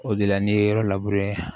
O de la n'i ye yɔrɔ labure